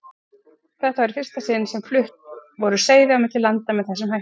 Þetta var í fyrsta sinni sem flutt voru seiði á milli landa með þessum hætti.